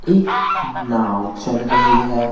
एक नाव चल रही है।